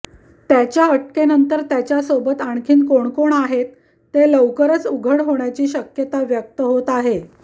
त्याच्या अटकेनंतर त्याच्यासोबत आणखी कोण कोण आहेत ते लवकरच उघड होण्याची शक्यता व्यक्त होत आहे